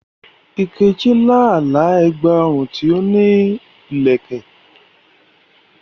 Nkechi lá àlá ẹ̀gbà ọrùn tí ó ní ìlẹ̀kẹ̀.